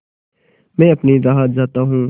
मैं अपनी राह जाता हूँ